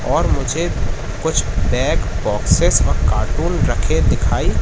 और मुझे कुछ बैग बॉक्स और कार्टून रखे दिखाई--